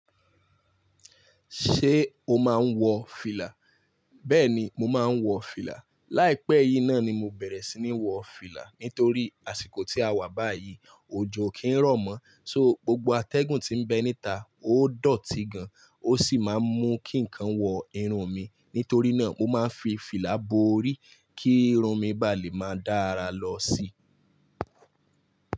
Ṣé o máa ń wọ fìlà? Bẹ́ẹ̀ni, mo máa ń wọ fìlà. Láìpẹ́ yìí náà ni mo bẹ̀rẹ̀ sí ní wọ fìlà nítorí àsìkò tí a wà báyìí, òjò kìí rọ̀ mọ́. So, gbogbo atẹ́gùn tí ń bẹ níta, ó dọ̀tí gan, ó sì máa ń mú kí nǹkan wọ irun mi. Nítorí náà, mo máa ń fi fìlà bo orí kí irun mi ba lè máa dára lọ síi.